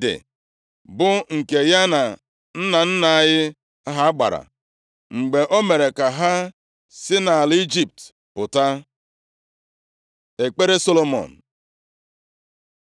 dị, bụ nke ya na nna nna anyị ha gbara, mgbe o mere ka ha si nʼala Ijipt pụta.” Ekpere Solomọn